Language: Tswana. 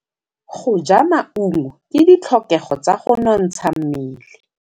Go ja maungo ke ditlhokegô tsa go nontsha mmele.